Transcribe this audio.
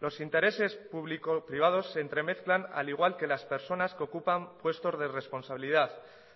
los intereses público privados se entremezclan al igual que las personas que ocupan puestos de responsabilidad